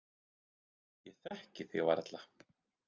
Ég þekkti þig varla.